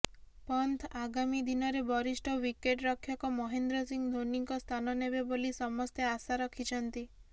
ପନ୍ତ୍ ଆଗାମୀ ଦିନରେ ବରିଷ୍ଠ ୱିକେଟରକ୍ଷକ ମହେନ୍ଦ୍ର ସିଂହ ଧୋନିଙ୍କ ସ୍ଥାନ ନେବେ ବୋଲି ସମସ୍ତେ ଆଶା ରଖିଛନ୍ତି